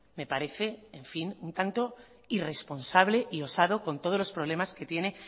me parece en fin un tanto irresponsable y osado con todos los problemas que tiene